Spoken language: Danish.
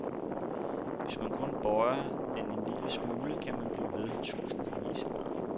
Hvis man kun bøjer den en lille smule, kan man blive ved tusindvis af gange.